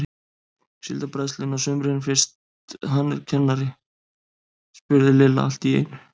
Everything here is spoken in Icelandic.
Síldarbræðslunni á sumrin fyrst hann er kennari? spurði Lilla allt í einu.